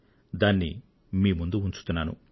దానిని మీ ముందు ఉంచుతున్నాను